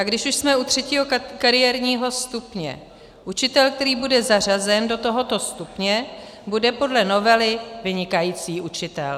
A když už jsme u třetího kariérního stupně, učitel, který bude zařazen do tohoto stupně, bude podle novely vynikající učitel.